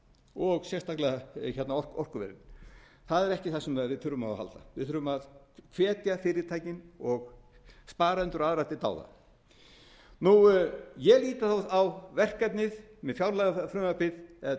og sérstaklega orkuverin það er ekki það sem við þurfum á að halda við þurfum að hvetja fyrirtækin og aðra sparendur til dáða ég lít á verkefnið með fjárlagafrumvarpið eða drög að fjárlagafrumvarpi sem